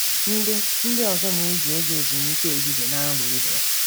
Ndị Ndị ọzọ na-eji oge ezumike ehihie na-amụ ihe.